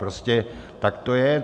Prostě tak to je.